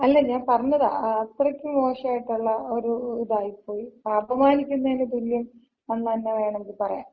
അല്ല ഞാന് പറഞ്ഞതാ. അത്രക്കും മോശായിട്ടൊള്ള ഒര് ഇതായിപ്പോയി. അപമാനിക്കുന്നതിന് തുല്യം എന്ന് തന്ന വേണോങ്കി പറയാം.